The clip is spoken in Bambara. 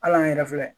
Hal'an yɛrɛ filɛ